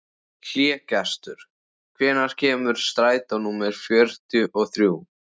Hlégestur, hvenær kemur strætó númer fjörutíu og þrjú?